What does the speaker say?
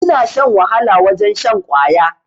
Ina shan wahala wajen shan kwaya